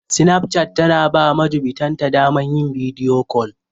Sinapchat ta na ba majubintan ta daman yin bidiyo kol.